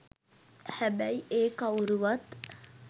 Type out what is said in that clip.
හැබැයි ඒ කවුරුවත්